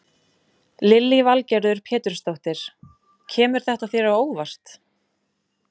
Lillý Valgerður Pétursdóttir: Kemur þetta þér á óvart?